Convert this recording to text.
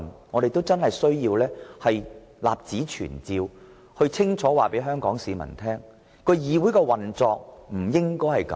我們要立此存照，清楚地告訴香港市民，議會不應這樣運作。